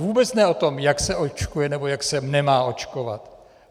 Vůbec ne o tom, jak se očkuje nebo jak se nemá očkovat.